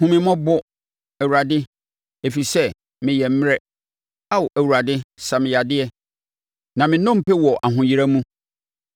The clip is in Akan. Hu me mmɔbɔ, Awurade, ɛfiri sɛ meyɛ mmrɛ; Ao Awurade sa me yadeɛ na me nnompe wɔ ahoyera mu.